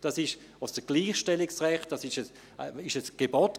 Dabei geht es um das Gleichstellungsrecht, und es war damals ein Gebot.